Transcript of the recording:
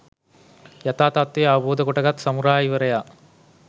යථා තත්ත්වය අවබෝධ කොටගත් සමුරායිවරයා